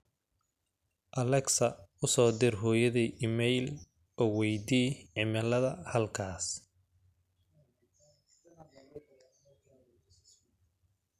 alexa u soo dir hooyaday iimayl oo weydii cimilada halkaas